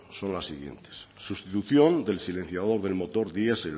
son las siguientes sustitución del silenciador del motor diesel